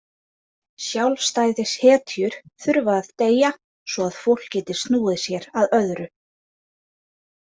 Sjálfstæðishetjur þurfa að deyja svo að fólk geti snúið sér að öðru.